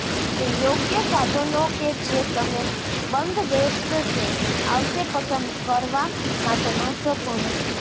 તે યોગ્ય સાધનો કે જે તમે બંધબેસશે આવશે પસંદ કરવા માટે મહત્વપૂર્ણ છે